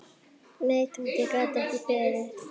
Nei, Tóti gat ekki beðið.